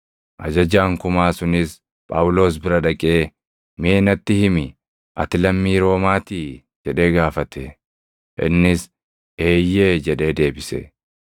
Ajajaan kumaa sunis Phaawulos bira dhaqee, “Mee natti himi; ati lammii Roomaatii?” jedhee gaafate. Innis, “Eeyyee” jedhee deebise.